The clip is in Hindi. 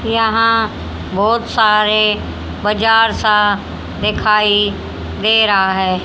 यहां बहुत सारे बाजार सा दिखाई दे रहा है।